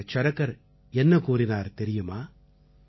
ஆச்சார்ய சரகர் என்ன கூறினார் தெரியுமா